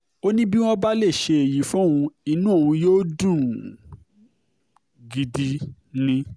ó ní bí wọ́n bá um lè ṣe èyí fóun inú òun yóò dùn gidi um ni